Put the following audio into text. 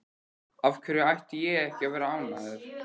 Af hverju ætti ég ekki að vera ánægður?